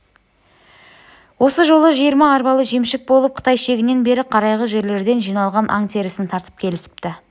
осы жолы жиырма арбалы жемшік болып қытай шегінен бері қарайғы жерлерден жиналған аң терісін тартып келісіпті